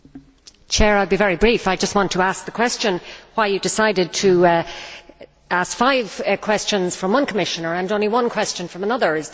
Mr President, I will be very brief. I just want to ask the question as to why you decided to ask five questions from one Commissioner and only one question from another.